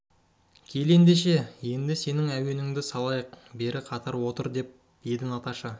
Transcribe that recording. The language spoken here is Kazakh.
кел ендеше енді сенің әуеніңді салайық бері қатар отыр дер еді наташа